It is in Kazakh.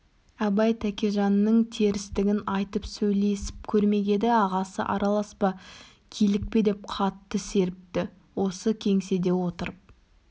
абай тәкежанның терістігін айтып сөйлесіп көрмек еді ағасы араласпа килікпе деп қатты серіпті осы кеңседе отырып